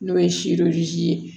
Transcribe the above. N'o ye ye